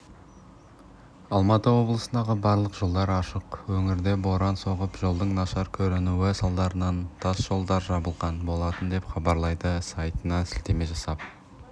алматы облысындағы барлық жолдар ашық өңірде боран соғып жолдың нашар көрінуі салдарынан тас жолдар жабылған болатын деп хабарлайды сайтына сілтеме жасап